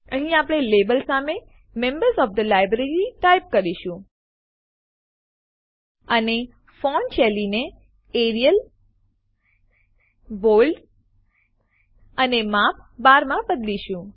અહીં આપણે લેબલ સામે members O F the library type કરીશું અને ફોન્ટ શૈલીને એરિયલ બોલ્ડ અને માપ ૧૨ માં બદલીશું